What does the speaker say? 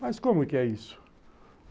Mas como que é isso?